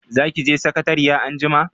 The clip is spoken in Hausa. Za ki je sakatariya anjima?